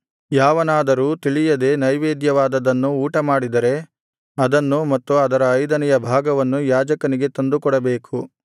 ಯಾವನಾದರೂ ತಿಳಿಯದೆ ನೈವೇದ್ಯವಾದದ್ದನ್ನು ಊಟಮಾಡಿದರೆ ಅದನ್ನು ಮತ್ತು ಅದರ ಐದನೆಯ ಭಾಗವನ್ನು ಯಾಜಕನಿಗೆ ತಂದುಕೊಡಬೇಕು